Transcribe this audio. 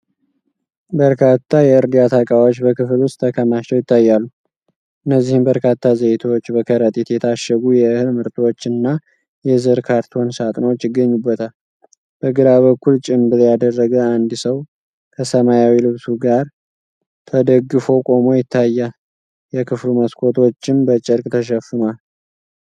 በርካታ የእርዳታ እቃዎች በክፍል ውስጥ ተከማችተው ይታያሉ፤ እነዚህም በርካታ ዘይቶች፣ በከረጢት የታሸጉ የእህል ምርቶች እና የዘር ካርቶን ሳጥኖች ይገኙበታል። በግራ በኩል ጭምብል ያደረገ አንድ ሰው ከሰማያዊ ልብሱ ጋር ተደግፎ ቆሞ ይታያል፤ የክፍሉ መስኮቶችም በጨርቅ ተሸፍነዋል።